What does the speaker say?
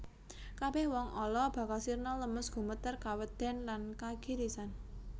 Kabèh wong ala bakal sirna lemes gumeter kawedèn lan kagirisan